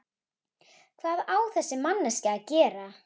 Hvað á þessi manneskja að gera?